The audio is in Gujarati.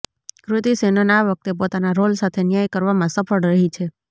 કૃતિ સૅનન આ વખતે પોતાના રોલ સાથે ન્યાય કરવામાં સફળ રહી છે